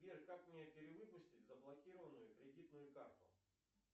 сбер как мне перевыпустить заблокированную кредитную карту